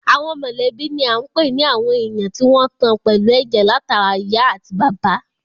Àwọn mọ̀lẹ́bí ni à ń pè ní àwọn èèyàn tí wọ́n tan pẹ̀lú ẹ̀jẹ̀ látara ìyá àti bàbá